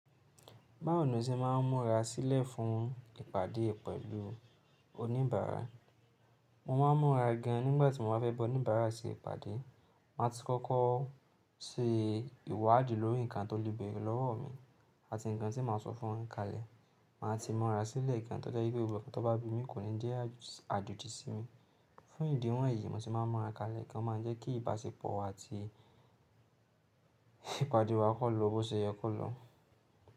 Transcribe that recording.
Báwo ni o se máà ń múra sílẹ̀ fún ìpàdé pẹ̀lú oníbàárà? Mo máa ń múra gan nígbà tí mo bá fẹ́ bọ oníbàárà se ìpàdé. Màá ti kọ́kọ́ se ìwádìí lórí nǹkan tó le béèrè lọ́wọ́ mi àti nǹkan tí màá sọ fún wọ́n kalẹ̀. Màá ti múra sílẹ̀ gan tó jẹ́ pé gbogbo ọ̀ro tó bá bi mí kò ní jẹ́ àjòjì sí mi. Fún ìdí wọ̀nyí, mo sì máa ń múra kalẹ̀ gan máa jẹ́ kí ìbáṣepọ̀ àti ìpàdé wa kó lọ bó ṣe yẹ kó lọ.